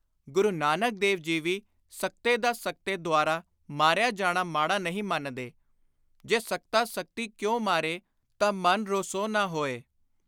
ਗੁਰੂ ਨਾਨਕ ਦੇਵ ਜੀ ਵੀ ਸਕਤੇ ਦਾ ਸਕਤੇ ਦੁਆਰਾ ਮਾਰਿਆ ਜਾਣਾ ਮਾੜਾ ਨਹੀਂ ਮੰਨਦੇ।(ਜੇ ਸਕਤਾ ਸਕਤੀ ਕਉ ਮਾਰੇ ਤਾਂ ਮੰਨਿ ਰੋਸੂ ਨੇ ਹੋਈ।। "ਸਕਤਾ = ਸ਼ਕਤੀ ਵਾਲਾ)